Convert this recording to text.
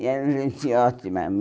E eram gente ótima.